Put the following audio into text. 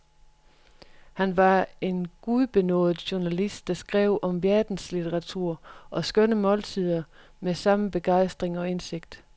Han var en gudbenådet journalist, der skrev om verdenslitteratur og skønne måltider med samme begejstring og indsigt.